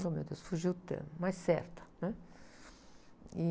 Ô, meu Deus, fugiu o termo, mais certa.